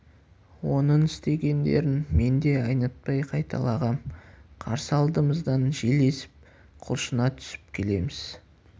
оның істегендерін мен де айнытпай қайталағам қарсы алдымыздан жел есіп құлшына түсіп келеміз